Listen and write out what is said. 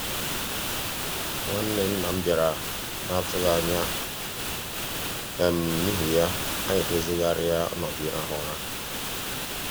nwa nwanne nna m bịara n'atụghị anya n'ihi ya anyị dozighari ọnọdụ ịrahụ ụra.